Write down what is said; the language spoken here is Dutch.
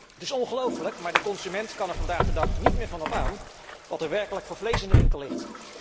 Het is ongelofelijk, maar de consument kan er vandaag de dag niet meer van op aan wat er werkelijk voor vlees in de winkel ligt.